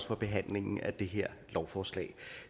for behandlingen af det her lovforslag